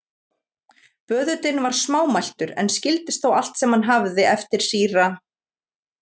Böðullinn var smámæltur, en skildist þó allt sem hann hafði eftir síra